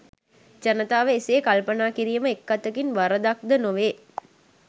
ජනතාව එසේ කල්පනා කිරිම එක් අතකින් වරදක් ද නොවේ